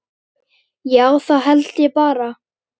Já, það held ég bara.